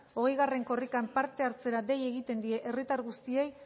hogei korrikan parte hartzera dei egiten die herritar guztiei